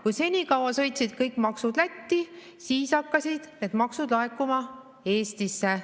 Kui senikaua sõitsid kõik maksud Lätti, siis hakkasid need maksud laekuma Eestisse.